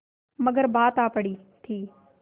मगर बात आ पड़ी थी